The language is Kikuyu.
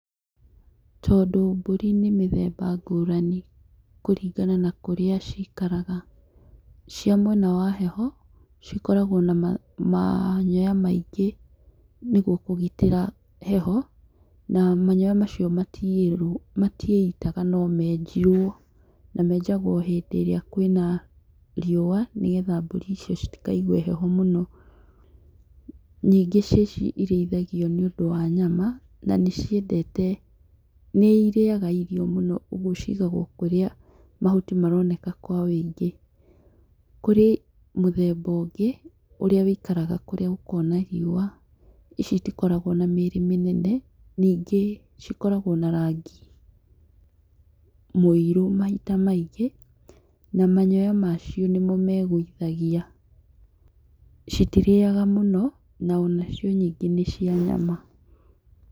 Tondũ mbũri nĩ mĩthemba ngũrani kũringana na kũrĩa cikaraga, cia mwena wa heho cikoragwo na manyoya maingĩ nĩguo kũgitĩra heho na manyoya macio matiĩitaga meenjirwo na menjagwo rĩrĩa kwĩna riũa nĩgetha mbũri icio citikaigue heho mũno, nyingĩ ciaci cĩrithagio nĩ ũndũ wa nyama na nĩciendete, na nĩ irĩaga irio mũno ũguo cigagwo kũrĩa mahuti maroneka kwa woingĩ, kũrĩ mũthemba ũngĩ ũrĩa wũikaraga kũrĩa gũkoragwo na riũa ici itikoragwo na mĩrĩ mĩnene ningĩ cikoragwo na rangi, mũirũ mahinda maingĩ na manyoya macio nĩmo megũithagia citirĩaga mũno na onacio nyingĩ nĩ cia nyama.